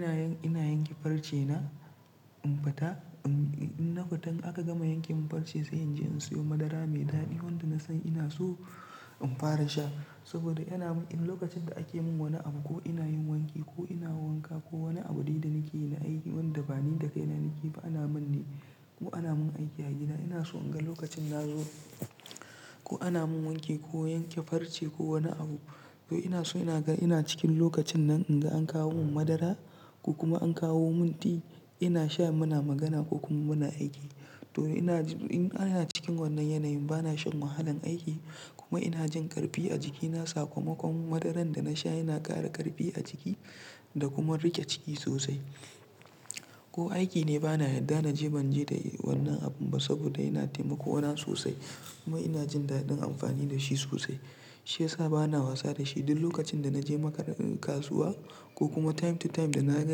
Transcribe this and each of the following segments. Ina yin, ina yanke farce na in fata, in na fita aka gama yanke mun farce sai in je in siyo madara mai daɗi wanda na san ina so in fara sha saboda yana mun, lokacin da ake mun wani abu ko ina yin wanki ko ina wanka ko wani abune da nake yi na aiki wanda bani da kai na nake fa ana min ne ko ana mun aiki a gida ina so in ga lokacin na zo ko ana mun wanke ko yanke farce ko wani abu to ina so na ga ina cikin lokacin nan in ga an kawo mun madara ko kuma an kawo mun ti ina sha muna magana ko kuma muna aiki. To ina, ina cikin wannan yanayin bana shan wahalan aiki kuma ina jin ƙarfi a jikina sakamakon madaran da na sha yana ƙara ƙarfi a jiki da kuma riƙe ciki sosai. Ko aiki ne bana yarda na je ban je da wannan abun ba saboda yana taimako mana sosai kuma ina jin daɗin amfani da shi sosai. Shi yasa bana wasa da shi duk lokacin da na je muka-- kasuwa ko kuma time to time da na ga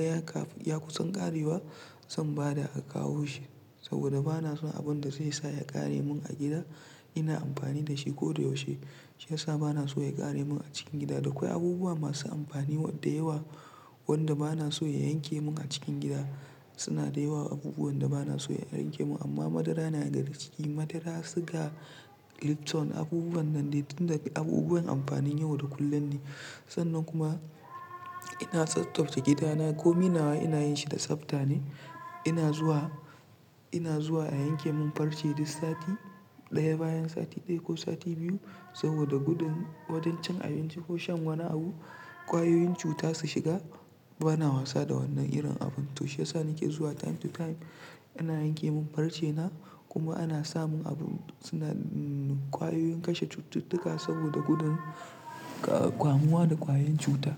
ya ka, ya kusan ƙarewa zan bada a kawo shi saboda bana so abun da zai sa ya ƙare mun a gida ina amfani da shi ko da yaushe. Shi ya sa bana so ya ƙare mun a cikin gida. Da akwai abubuwa masu amfani da yawa wanda bana so ya yanke mun a cikin gida suna da yawa abubuwan da bana so ya yanke mun amma madara yana daga cikin madara, siga, lipton abubuwan nan dai tun da, abubuwan amfanin yau da kullum ne. Sannan kuma ina tsaftace gidana ko minawa ina yin shi da tsafta ne. Ina zuwa, ina zuwa a yanke mun farce duk sati ɗaya bayan sati ɗaya ko sati biyu saboda gudun wajen cin abinci ko shan wani abu ƙwayoyin cuta su shiga bana wasa da wannan irin abun. To shi yasa nake zuwa time to time ina yanke mun farce na kuma ana samun abun suna ƙwayoyin kashe cututtuka saboda gudun ƙwa, kamuwa da ƙwayoyin cuta.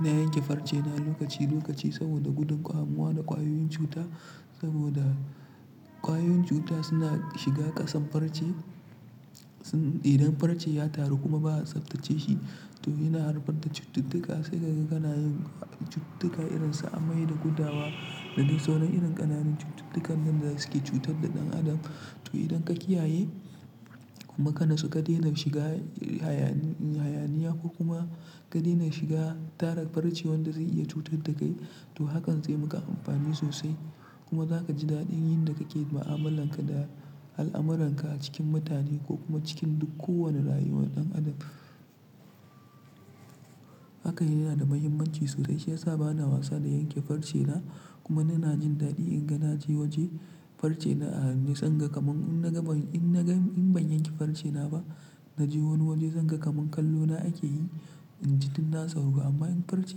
Na yanke farce na lokaci lokaci saboda gudun kamuwa da ƙwayoyin cuta saboda ƙwayoyin cuta suna shiga ƙasan farce. Idan farce ya taru kuma ba a tsaftace shi to yana harba da cututtuka sai ka ga kana yin cututtuka irin su amai da gudawa da duk saunan irin ƙananun cututtukan wanɗa suke cutar da ɗan adam. To idan ka kiyaye kuma kana so ka daina shiga hayaniya ko kuma ka daina shiga tara farce wanda zai iya cutar da kai to hakan zai maka amfani sosai kuma za ka ji daɗin yin da kake da ma'amalan ka da al'amuran ka a cikin mutane ko kuma cikin duk kowane rayuwar ɗan adam. Haka yana da muhimmanci sosai shi ya sa bana wasa da yanke farce na kuma ina jin daɗi in ga na je waje farce na a nisan ga kaman in na ga mun, in na ga mun, in ban yanke farce na ba na je wani waje zan ga kaman kallo na ake yi in ji tun na sauro amma in farce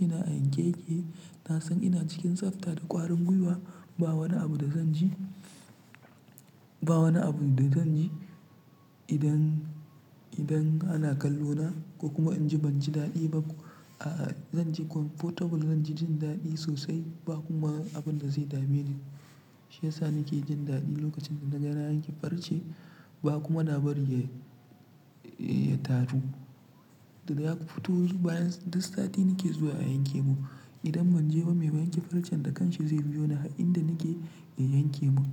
na a yanke yake na san ina cikin tsafta da ƙwarin gwiwa ba wani abu da zan ji, ba wani abu da zan ji idan, idan ana kallo na ko kuma in ji ban ji daɗi ba a zan ji comfortable zan ji jin daɗi sosai ba kuma abun da zai dame ni. Shi ya sa nake jin daɗi lokacin da na ga na yanke farce ba kuma na bari ya, ya taru. Da yaƙu fitovu bayan duk sati nake zuwa a yanke mun. Idan ban je ba me yanke farcen da kanshi zai biyo ni a inda nake ya yanke mun.